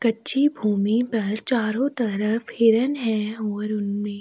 कच्ची भूमि पर चारों तरफ हिरन है और उनमें --